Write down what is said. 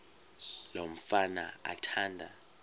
lo mfana athanda